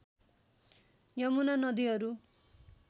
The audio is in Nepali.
यमुना नदीहरू